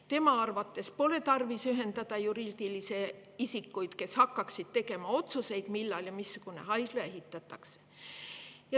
Tema arvates pole tarvis ühendada juriidilisi isikuid, kes hakkaksid tegema otsuseid, millal ja missugune haigla ehitatakse.